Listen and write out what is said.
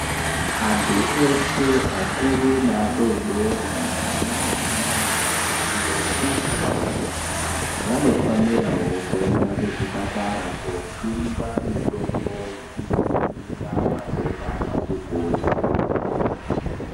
Antu eshe akuru neadodori , ana mai naana baba, ntombi nemajaya vanofanirawo kuenda kuzviparata koojungwa mitombo yekudzivirira matenda akati kuti.